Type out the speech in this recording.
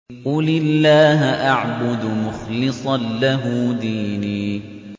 قُلِ اللَّهَ أَعْبُدُ مُخْلِصًا لَّهُ دِينِي